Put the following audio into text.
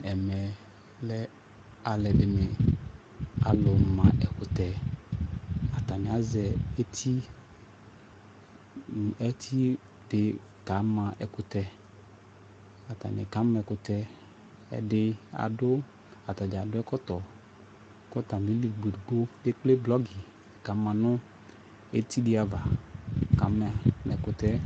Ɛmɛ lɛ alʋɛdini, alʋ ma ɛkʋtɛ Atani azɛ eti eti di kama ɛkʋtɛ Atani kama ɛkʋtɛ Ɛdi adʋ, atadza adʋ ɛkɔtɔ kʋ atami li ɔlʋedigbo ekple blɔgi kama nʋ eti di ava, kama ɛkʋtɛ ɛ